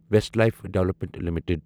Westlife development limited